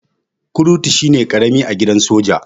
Kurtu shine karami a gidan soja.